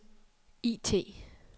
IT